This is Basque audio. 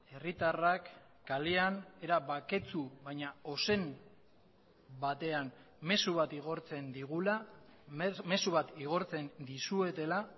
herritarrak kalean era baketsu baina ozen batean mezu bat igortzen digula mezu bat igortzen dizuetela